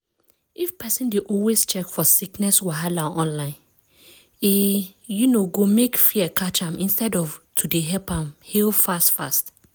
if pesin dey always check for sickness wahala online e um go mek fear catch am instead of to dey help am heal fast fast.